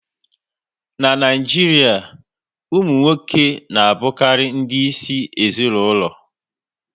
N'Naijiria, ụmụ nwoke na abukari ndị isi ezinaụlọ